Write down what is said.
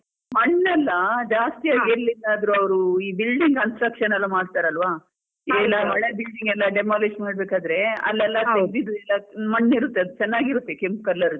ಮಣ್ಣೆಲ್ಲ ಜಾಸ್ತಿ ಎಲ್ಲಿಂದಾದ್ರು ಅವ್ರು ಈ building construction ಎಲ್ಲ ಮಾಡ್ತಾರೆ ಅಲ್ವ ಹಳೆ building ಎಲ್ಲ demolish ಮಾಡ್ಬೇಕಾದ್ರೆ ಅಲ್ಲಲ್ಲಿ ಎಲ್ಲ ಬಿದ್ದಿರೋ ಮಣ್ಣಿರುತ್ತೆ, ಅದು ಚೆನ್ನಾಗಿರುತ್ತೆ ಕೆಂಪು colour ದು.